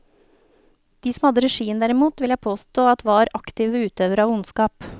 De som hadde regien derimot, vil jeg påstå at var aktive utøvere av ondskap.